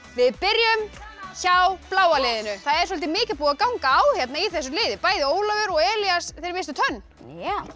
við byrjum hjá bláa liðinu það er svolítið mikið búið að ganga á í þessu liði bæði Ólafur og Elías misstu tönn